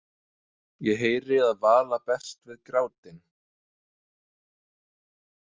Ég heyri að Vala berst við grátinn.